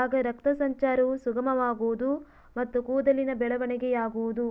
ಆಗ ರಕ್ತ ಸಂಚಾರವು ಸುಗಮವಾಗುವುದು ಮತ್ತು ಕೂದಲಿನ ಬೆಳವಣಿಗೆಯಾಗುವುದು